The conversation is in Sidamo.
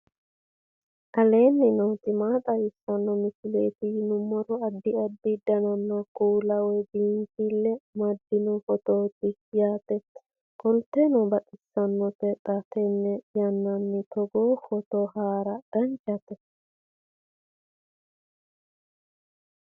aleenni nooti maa xawisanno misileeti yinummoro addi addi dananna kuula woy biinfille amaddino footooti yaate qoltenno baxissannote xa tenne yannanni togoo footo haara danchate